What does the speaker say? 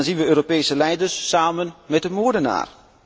En dan zien wij Europese leiders samen met de moordenaar.